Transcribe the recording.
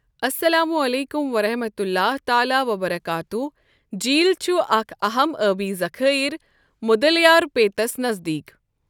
اسلام علیکم ورحمۃ اللہ تعالٰی وبرکاتہ جیٖل چھُ اکھ اَہم ٲبی ذخٲیر مدلیارپیتَس نزدیٖک ۔